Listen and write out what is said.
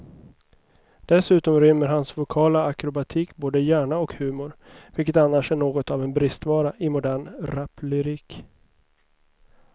Dessutom rymmer hans vokala akrobatik både hjärna och humor, vilket annars är något av en bristvara i modern raplyrik.